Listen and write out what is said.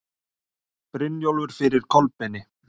Brynjólfur fyrir Kolbeini.